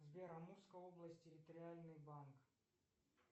сбер амурская область территориальный банк